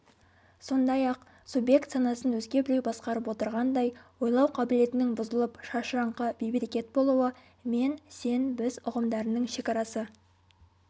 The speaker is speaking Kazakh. сондайақ субъект санасын өзге біреу басқарып отырғандай ойлау қабілетінің бұзылып шашыраңқы бейберекет болуы мен-сен-біз ұғымдарының шекарасы